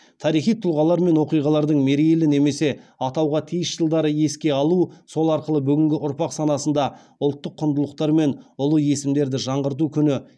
тарихи тұлғалар мен оқиғалардың мерейлі немесе атауға тиіс жылдары еске алу сол арқылы бүгінгі ұрпақ санасында ұлттық құндылықтар мен ұлы есімдерді жаңғырту күні